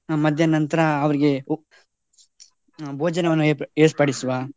ಮಧ್ಯಾಹ್ನ ನಂತ್ರ ಅವ್ರಿಗೆ ಊ~ ಆ ಭೋಜನವನ್ನು ಏರ್~ ಏರ್ಪಡಿಸುವ.